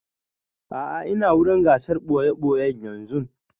A'a ina wurin gasar ɓoye-ɓoye yanzun